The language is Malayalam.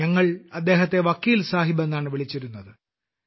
ഞങ്ങൾ അദ്ദേഹത്തെ വക്കീൽ സാഹിബ് എന്നാണ് വിളിച്ചിരുന്നത്